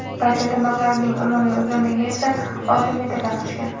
Barcha tirnoqlarining umumiy uzunligi esa olti metrdan oshgan.